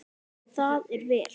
Það er vel.